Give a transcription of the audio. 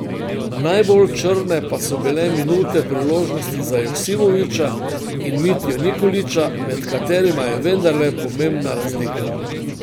Najbolj črne pa so bile minute priložnosti za Joksimovića in Mitjo Nikolića, med katerima je vendarle pomembna razlika.